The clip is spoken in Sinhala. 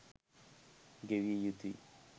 ගෙවිය යුතුයි.